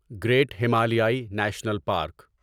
great ہمالیائی national park